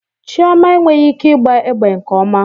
Chioma enweghị ike ịgba egbe nke ọma